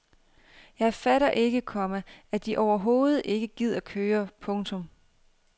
Jeg fatter ikke, komma at de overhovedet gider køre. punktum